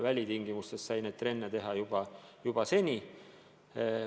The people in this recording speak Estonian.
Välitingimustes on trenni saanud teha juba varem.